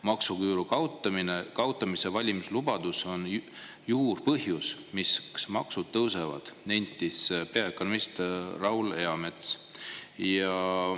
"Maksuküüru kaotamise valimislubadus on juurpõhjus, miks maksud tõusevad," nentis peaökonomist Raul Eamets.